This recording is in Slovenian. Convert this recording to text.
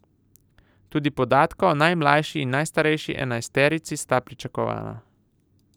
Tudi podatka o najmlajši in najstarejši enajsterici sta pričakovana.